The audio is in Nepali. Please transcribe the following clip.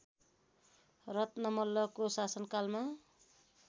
रत्न मल्लको शासनकालमा